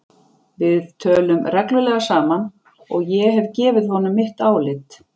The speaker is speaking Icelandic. Við tölum reglulega saman og ég hef gefið honum mitt álit.